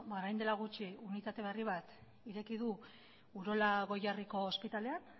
beno ba orain dela gutxi unitate berri bat ireki du urola goierriko ospitaleak